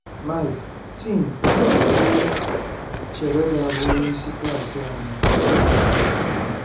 Mike: Tim, ònye ka i chere ga-abụ onyeisi klas anyị?